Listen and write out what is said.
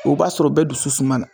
O b'a sɔr'o bɛɛ dusu suma na.